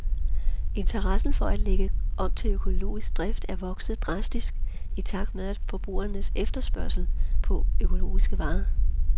Interessen for at lægge om til økologisk drift er vokset drastisk i takt med forbrugernes efterspørgsel på økologiske varer.